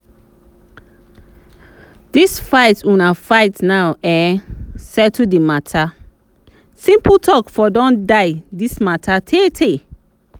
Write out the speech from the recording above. dis fight una fight now e settle the matter? simple talk for don die dis matter tay tay